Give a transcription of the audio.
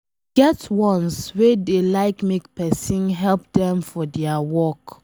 E get ones wey dey like make pesin help dem for dia work